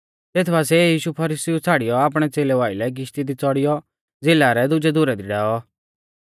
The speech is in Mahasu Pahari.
तेत बासिऐ यीशु फरीसीउ छ़ाड़ियौ आपणै च़ेलेऊ आइलै किशती दी च़ौड़ियौ झ़िला रै दुजै धुरै दी डैऔ